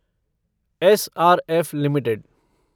SRF limited